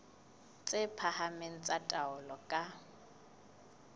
tse phahameng tsa taolo ka